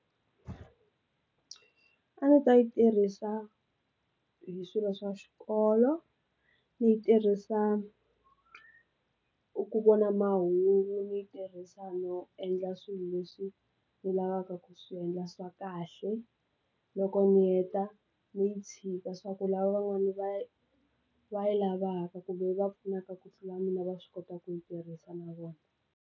A ndzi ta yi tirhisa hi swilo swa xikolo, ndzi yi tirhisa ku vona mahungu, ndzi yi tirhisa no endla swilo leswi ndzi lavaka ku swiendla swa kahle loko ndzi heta ndzi yi tshika swa ku lava van'wani va va yi lavaka kumbe va pfunaka ku tlula mina va swi kota ku yi tirhisa na vona.